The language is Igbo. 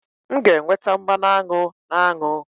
M ga-enweta mmanụ aṅụ na aṅụ